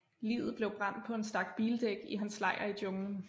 Liget blev brændt på en stak bildæk i hans lejr i junglen